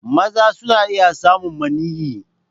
Maza suna iya samun maniyyi.